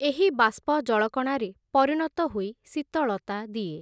ଏହି ବାଷ୍ପ ଜଳକଣାରେ, ପରିଣତ ହୋଇ ଶୀତଳତା ଦିଏ ।